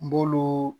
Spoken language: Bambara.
N b'olu